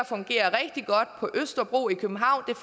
fungerer rigtig godt på østerbro i københavn